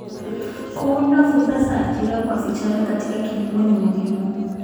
Kuunda fursa za ajira kwa vijana katika kilimo ni muhimu.